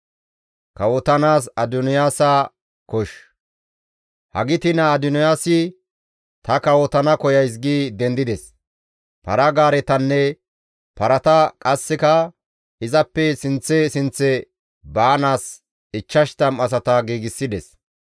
Hagiti naa Adoniyaasi, «Ta kawotana koyays» gi dendides; para-gaaretanne parata qasseka izappe sinththe sinththe baanaas 50 asata giigsides.